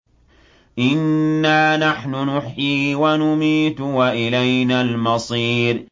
إِنَّا نَحْنُ نُحْيِي وَنُمِيتُ وَإِلَيْنَا الْمَصِيرُ